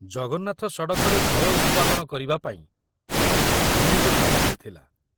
ଜଗନ୍ନାଥ ସଡ଼କରେ ଭୟ ଉତ୍ପାଦନ କରିବାପାଇଁ ଅନେକ ସାମଗ୍ରୀ ଥିଲା।